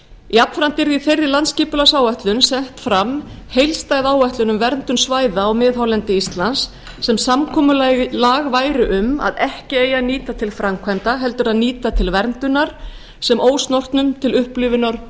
jafnframt yrði í betri landsskipulagsáætlun sett fram heildstæð áætlun um verndun svæða á miðhálendi íslands sem samkomulag væri um að ekki eigi að nýta til framkvæmda heldur að nýta til verndunar sem ósnortnum til upplifunar